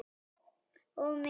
Og mig!